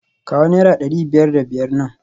Kawo naira dari biyar da biyar nan